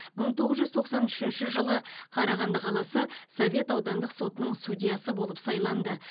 мың тоғыз жүз тоқсан үшінші жылы қарағанды қаласы совет аудандық сотының судьясы болып сайланды